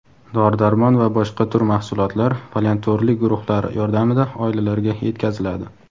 dori-darmon va boshqa tur mahsulotlar volontyorlik guruhlari yordamida oilalarga yetkaziladi.